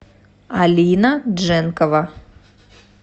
алина дженкова